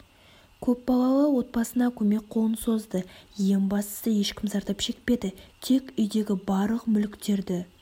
көп балалы отбасына көмек қолын созды ең бастысы ешкім зардап шекпеді тек үйдегі барлық мүліктерді